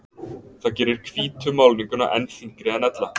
það gerir hvítu málninguna enn þyngri en ella